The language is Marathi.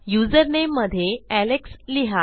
युजरनेम मध्ये एलेक्स लिहा